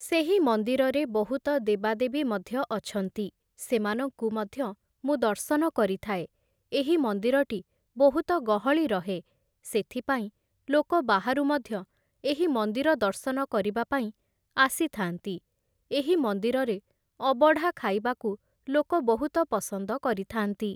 ସେହି ମନ୍ଦିରରେ ବହୁତ ଦେବାଦେବୀ ମଧ୍ୟ ଅଛନ୍ତି । ସେମାନଙ୍କୁ ମଧ୍ୟ ମୁଁ ଦର୍ଶନ କରିଥାଏ । ଏହି ମନ୍ଦିରଟି ବହୁତ ଗହଳି ରହେ, ସେଥିପାଇଁ ଲୋକ ବାହାରୁ ମଧ୍ୟ ଏହି ମନ୍ଦିର ଦର୍ଶନ କରିବା ପାଇଁ ଆସିଥାନ୍ତି । ଏହି ମନ୍ଦିରରେ ଅବଢ଼ା ଖାଇବାକୁ ଲୋକ ବହୁତ ପସନ୍ଦ କରିଥାନ୍ତି ।